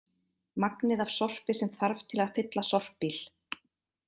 Magnið af sorpi sem þarf til að fylla sorpbíl.